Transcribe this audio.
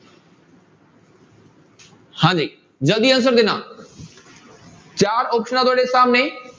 ਹਾਂਜੀ ਜ਼ਲਦੀ answer ਦੇਣਾ ਚਾਰ ਆਪਸਨਾਂ ਤੁਹਾਡੇ ਸਾਹਮਣੇ।